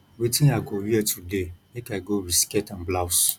wetin i go wear today make i go with skirt and blouse